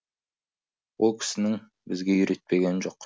ол кісінің бізге үйретпегені жоқ